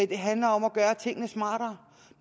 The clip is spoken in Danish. det handler om at gøre tingene smartere